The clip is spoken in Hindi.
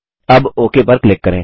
अब ओक पर क्लिक करें